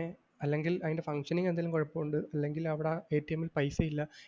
ഏർ അല്ലെങ്കിൽ അതിൻ്റെ functioning എന്തെങ്കിലും കുഴപ്പമുണ്ട് അല്ലെങ്കിൽ അവിടെ ആ ൽ പൈസ ഇല്ല